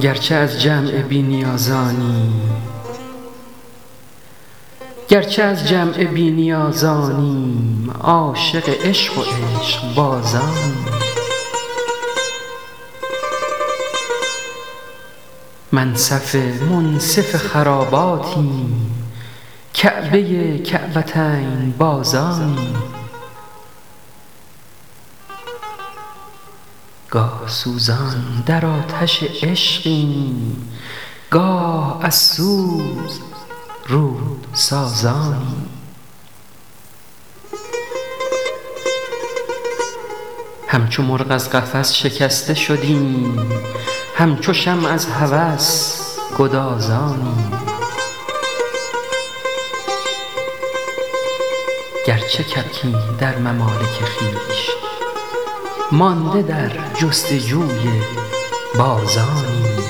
گرچه از جمع بی نیازانیم عاشق عشق و عشقبازانیم منصف منصف خراباتیم کعبه کعبتین بازانیم گاه سوزان در آتش عشقیم گاه از سوز رود سازانیم همچو مرغ از قفس شکسته شدیم همچو شمع از هوس گدازانیم گرچه کبکیم در ممالک خویش مانده در جستجوی بازانیم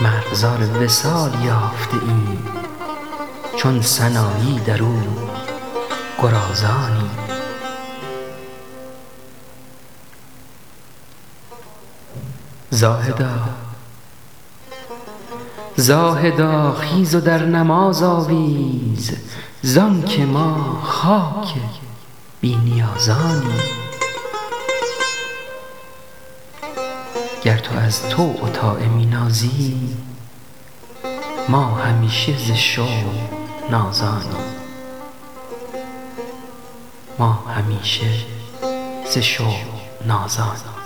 مرغزار وصال یافته ایم چون سنایی درو گرازانیم زاهدا خیز و در نماز آویز زان که ما خاک بی نیازانیم گر تو از طوع و طاعه می نازی ما همیشه ز شوق نازانیم